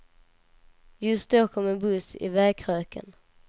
Just då kom en buss i vägkröken.